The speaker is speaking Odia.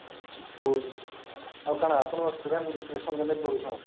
ଆଉ କଣ ଆପଣଙ୍କର student selection କେମିତି କରୁଛନ